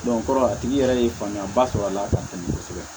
a tigi yɛrɛ ye faamuya ba sɔrɔ a la k'a famu kosɛbɛ